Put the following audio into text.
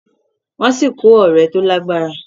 wón sí kò òré tó lágbára